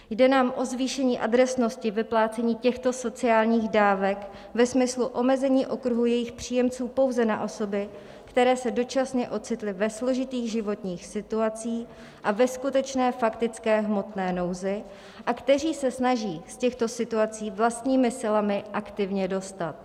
Jde nám o zvýšení adresnosti vyplácení těchto sociálních dávek ve smyslu omezení okruhu jejich příjemců pouze na osoby, které se dočasně ocitly ve složitých životních situacích a ve skutečné faktické hmotné nouzi a které se snaží z těchto situací vlastními silami aktivně dostat.